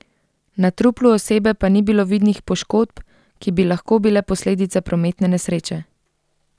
Na truplu osebe pa ni bilo vidnih poškodb, ki bi lahko bile posledica prometne nesreče.